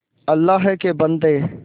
अल्लाह के बन्दे